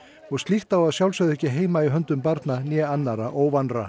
og slíkt á að sjálfsögðu ekki heima í höndum barna né annarra